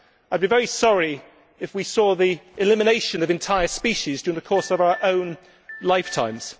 I would be very sorry if we saw the elimination of entire species during the course of our own lifetimes.